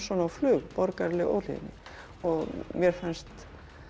á flug borgaraleg óhlýðni mér fannst